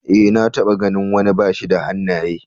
Ee, na taɓa ganin wani bashi da hannaye.